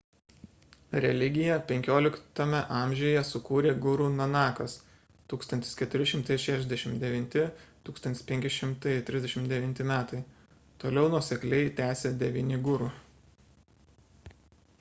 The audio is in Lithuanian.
religiją 15 amžiuje sukūrė guru nanakas 1469–1539 m.. toliau nuosekliai tęsė devyni guru